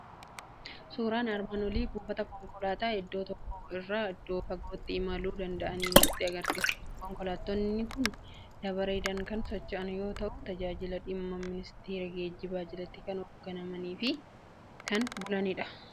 Suuraan armaan olii buufata konkolaataa iddoo tokko irraa iddoo fagootti imaluu danda'anii nutti argisiisa. Konkolaattotni kun dabareedhaan kan socho'an yoo ta'u, tajaajila dhimma ministeera geejjibaa jalatti kan hoogganamanii fi kan bulanidha.